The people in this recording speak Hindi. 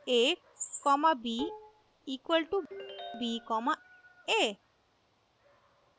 a comma b equal to b comma a